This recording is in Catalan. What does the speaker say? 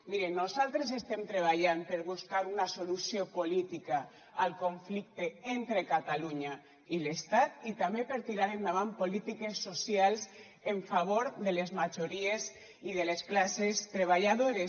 mire nosaltres estem treballant per buscar una solució política al conflicte entre catalunya i l’estat i també per tirar endavant polítiques socials en favor de les majories i de les classes treballadores